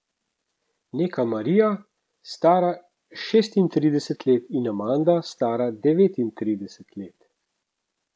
Neka Marija, stara šestintrideset let, in Amanda, stara devetintrideset let.